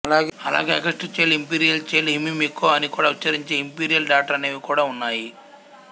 అలాగే August child imperial child Himemiko అని కూడా ఉచ్ఛరించే ఇంపీరియల్ డాటర్ అనేవి కూడా ఉన్నాయి